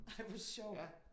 Ej hvor sjovt